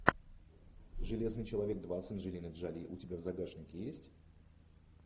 железный человек два с анджелиной джоли у тебя в загашнике есть